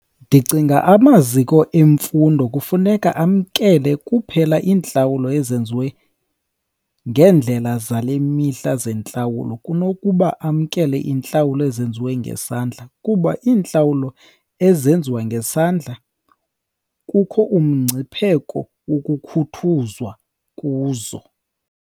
Ndicinga amaziko emfundo kufuneka amkele kuphela iintlawulo ezenziwe ngeendlela zale mihla zentlawulo kunokuba amkele iintlawulo ezenziwe ngesandla. Kuba iintlawulo ezenziwa ngesandla kukho umngcipheko wokukhuthuzwa kuzo.